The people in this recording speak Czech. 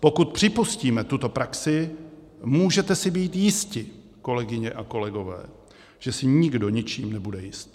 Pokud připustíme tuto praxi, můžete si být jisti, kolegyně a kolegové, že si nikdo ničím nebude jist.